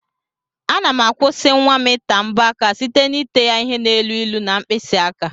Ana m akwụsi nwam ita mbọ aka site n'ete ya ihe na elu ilu na mkpisi aka.